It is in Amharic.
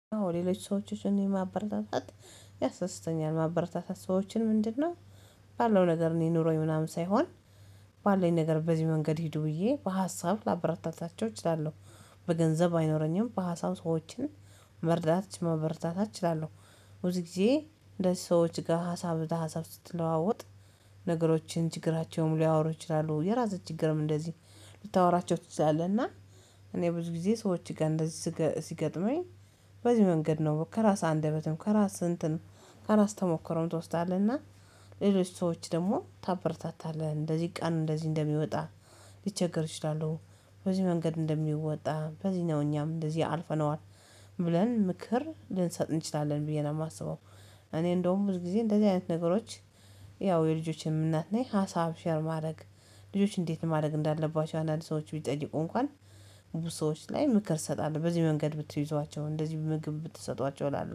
አዎ ሌሎች ሰዎችን ማበረታታት ያሳደስተኛል ማበረታታት ሰዎችን ምንድነው? ባለው ነገር እኔ ኑሮኝ ምናምን ሳይሆን ባለን ነገር በዚህ መንገድ ሂዱ ብዬ በሀሳብ ላበራታታቸው እችላለሁ። በገንዘብ አይኖረኝም በሀሳብ ሰዎችን መርዳት ምበረታት እችላለሁ። ብዙ ጊዜ እንደዚህ ሰዎች ጋር ሀሳብ በሀሳብ ስትለዋወጥ ነገሮችን ችግራቸውም ሊያወሩ ይችላሉ የራስህን ችግርም እንደዚህ ልታወራቸው ትችላለህ። እና እኔ ብዙ ጊዜ ሰዎች ጋር እንደዚህ ሲገጥመኝ በዚህ መንገድ ነው ከራስ አንደበትም ከራስ እንትንም ከራስ ተሞክሮም ትወስዳለህ። እና ሌሎች ሰዎች ደግሞ ታበርታታለህ እንደዚህ ቀን እንደዚህ እንደሚወጣ ሊቸገር ይችላሉ በዚህ መንገድ እንደሚወጣ በዚህ ነው እኛም እንደዚህ አልፈነዋል ብለን ምክር ልንሰጥ እንችላለን ብዬ ነው የማስበው። እኔ እንደውም ብዙ ጊዜ እንደዚህ አይነት ነገሮች ያው የልጆችን እናት ነኝ። ሀሳብ ሼር ማድረግ ልጆችን እንዴት ማድረግ እንዳለባቸው አንዳንድ ሰዎች ቢጠይቁ እንኳን ብዙ ሰዎች ላይ ምክር ሰጣለህ በዚህ መንገድ ብትይዟቸው እንደዚህ ምግብ ብትሰጧቸው እላለሁ